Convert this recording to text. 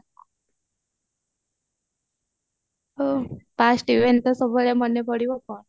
past even ତ ସବୁବେଳେ ମନେ ପଡିବ କଣ